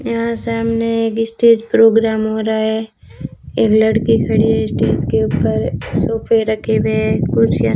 यहां सामने एक स्टेज प्रोग्राम हो रहा है एक लड़की खड़ी है स्टेज के ऊपर सोफे रखे हुए हैं कुर्सियां --